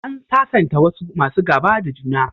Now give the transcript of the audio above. An sasanta wasu masu gaba da juna.